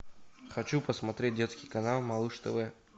хочу посмотреть детский канал малыш тв